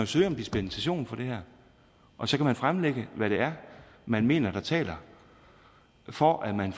søge om dispensation fra det her og så kan man fremlægge hvad det er man mener taler for at man